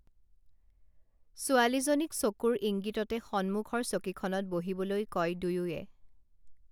ছোৱালীজনীক চকুৰ ইঙ্গিততে সন্মুখৰ চকীখনত বহিবলৈ কয় দুয়োয়ে